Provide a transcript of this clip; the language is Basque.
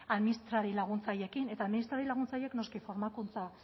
administrari laguntzaileekin eta administrari laguntzaileek noski formakuntza